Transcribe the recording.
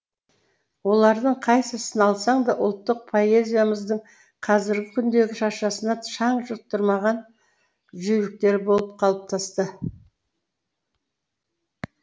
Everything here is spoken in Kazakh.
олардың қайсысын алсаң да ұлттық поэзиямыздың қазіргі күндегі шашасына шаң жұқтырмаған жүйріктері болып қалыптасты